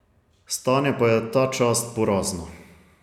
Stanje pa je ta čas porazno.